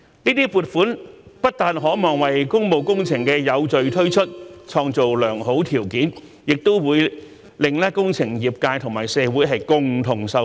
這些撥款不但可望為工務工程的有序推出創造良好條件，也會令工程業界和社會共同受惠。